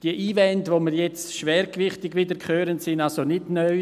Die Einwände, die wir jetzt wieder hören, sind also nicht neu.